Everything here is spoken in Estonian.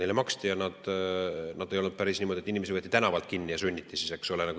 Neile maksti ja ei olnud päris niimoodi, et inimesi võeti tänavalt kinni ja sunniti siis, eks ole.